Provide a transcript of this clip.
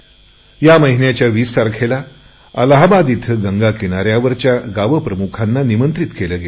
या महिन्याच्या वीस तारखेला अलाहाबाद इथे गंगा किनाऱ्यावरच्या गावप्रमुखांना निमंत्रित केले गेले